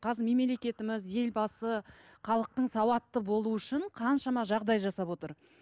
қазір мемлекетіміз елбасы халықтың сауатты болуы үшін қаншама жағдай жасап отыр